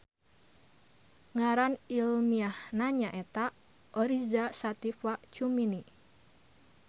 Ngaran ilmiahna nyaeta Oriza Sativa cumini.